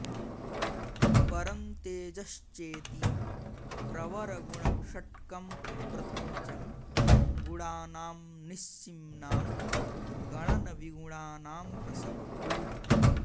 परं तेजश्चेति प्रवरगुणषट्कं प्रथमजं गुणानां निस्सीम्नां गणनविगुणानां प्रसवभूः